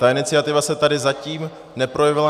Ta iniciativa se tady zatím neprojevila.